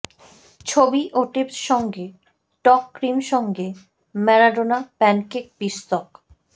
ছবি ও টিপস সঙ্গে টক ক্রিম সঙ্গে ম্যারাডোনা প্যানকেক পিষ্টক